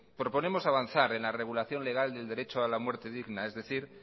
proponemos avanzar en la regulación legal del derecho a la muerte digna es decir